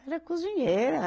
Era cozinheira.